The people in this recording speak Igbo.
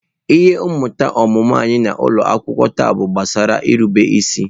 Ihe mmụta omume anyị n’ụlọ akwụkwọ taa bụ gbasara nrube isi.